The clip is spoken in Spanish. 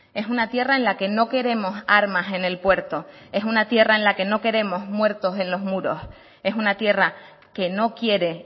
es una tierra en la que no queremos armas en el puerto es una tierra en la que no queremos muertos en los muros es una tierra que no quiere